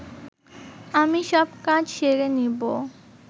আমি সব কাজ সেরে নেব